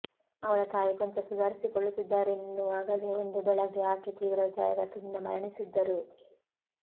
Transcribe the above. ಅವಳ ತಾಯಿ ಕೊಂಚ ಸುಧಾರಿಸಿಕೊಳ್ಳುತ್ತಿದ್ದಾರೆನ್ನುವಾಗಲೇ ಒಂದು ಬೆಳಗ್ಗೆ ಆಕೆ ತೀವ್ರ ಹೃದಯಾಘಾತದಿಂದ ಮರಣಿಸಿದ್ದರು